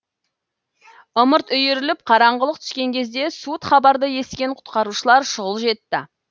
ымырт үйіріліп қараңғылық түскен кезде суыт хабарды естіген құтқарушылар шұғыл жетті